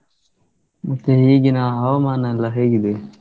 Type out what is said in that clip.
ಮತ್ತೇ ಈಗಿನ ಹವಾಮಾನ ಎಲ್ಲಾ ಹೇಗಿದೆ?